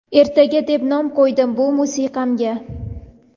"Ertaga" deb nom qo‘ydim bu musiqamga.